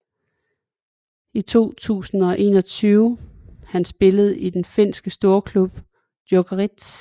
I 2021 Han spiller i den finske storklub Jokerit